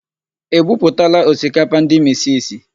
E buputala osikapa ndị misisi?